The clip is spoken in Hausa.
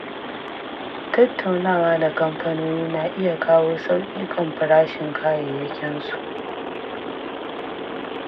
Tattaunawa da kamfanoni na iya kawo sauƙi kan farashin kayayyakinsu.